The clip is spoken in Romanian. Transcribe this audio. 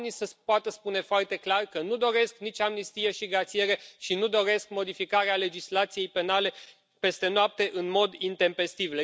Oamenii să poată spune foarte clar că nu doresc nici amnistie și grațiere și nu doresc modificarea legislației penale peste noapte în mod intempestiv.